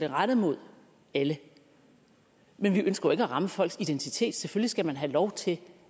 rettet mod alle men vi ønsker jo ikke at ramme folks identitet selvfølgelig skal man have lov til